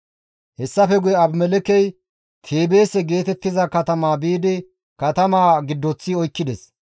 Hessafe guye Abimelekkey Teebeese geetettiza katama biidi katamaa giddoththi oykkides.